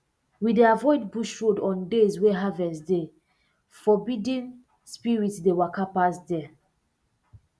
we dey avoid bush road on days wey harvest dey forbiddenna spirit dey waka pass there